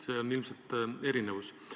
See on ilmselt erinevus.